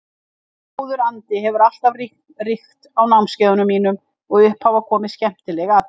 Góður andi hefur alltaf ríkt á námskeiðum mínum og upp hafa komið skemmtileg atvik.